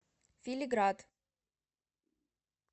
фили град